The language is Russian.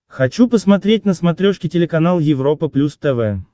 хочу посмотреть на смотрешке телеканал европа плюс тв